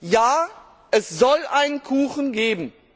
Ja, es soll einen Kuchen geben.